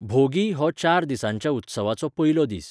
भोगी हो चार दिसांच्या उत्सवाचो पयलो दीस.